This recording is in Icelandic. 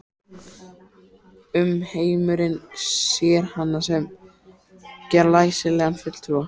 Umheimurinn sér hana sem glæsilegan fulltrúa